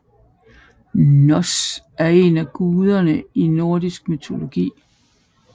Hnoss er en af guderne i nordisk mytologi